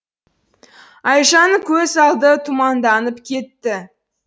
айжанның көз алды тұманданып кетті